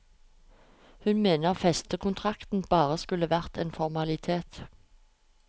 Hun mener festekontrakten bare skulle være en formalitet.